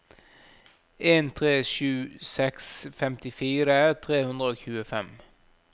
en tre sju seks femtifire tre hundre og tjuefem